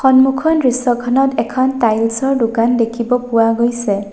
সন্মুখৰ দৃশ্যখনত এখন টাইলছ ৰ দোকান দেখিব পোৱা গৈছে।